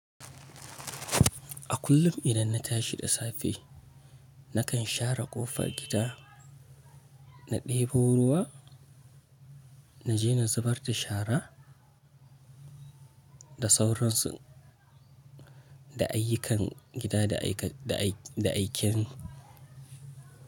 A kullum idan na tashi da safe, nakan share ƙofar gida, na ɗebo ruwa, na je na zubar da shara da sauransu, da ayyukan gida da aiken.